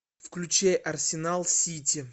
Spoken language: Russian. включи арсенал сити